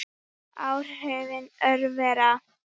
Áhrif örvera